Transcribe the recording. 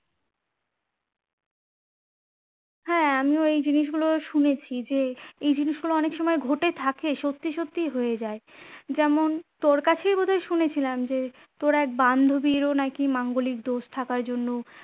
হ্যাঁ আমিও এই জিনিসগুলো শুনেছি যে এই জিনিসগুলো অনেক সময় ঘটে থাকে সত্যি সত্যিই হয়ে যায় যেমন তোর কাছেই বোধয় শুনেছিলাম যে তোর এক বান্ধীরও নাকি মাঙ্গলিক দোষ থাকার জন্য